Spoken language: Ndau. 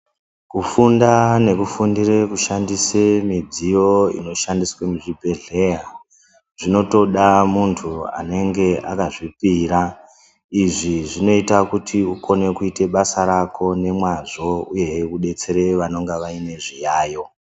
Kufunda nekufundire kushandise mudziyo inoshandiswa muzvibhedhlera zvinotoda muntu anenge akazvipira izvizvinoita kuti ukone kuita basa rako nemwazvo uyehe udetsere vanenge vane zviyayo.